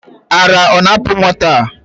Ara ọ na-apu nwata a?